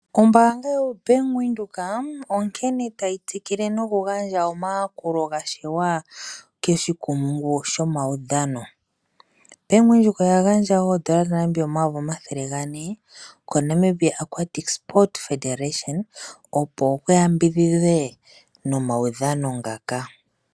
Ombaanga yoBank windhoek onkene tayi tsikile nokugandja omayakulo gashiwa koshikumungu shomaudhano . Bank Windhoek oya gandja oodola dha Namibia o400 000.00 ko Namibia Aquatic Sports Federation opo kuyambidhidhe nomaudhano ngaka.